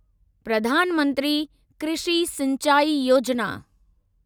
Pradhan Mantri Krishi Sinchai Yojana